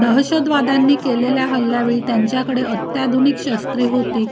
दहशतवाद्यांनी केलेल्या हल्यावेळी त्यांच्याकडे अत्याधुनिक शस्त्रे होती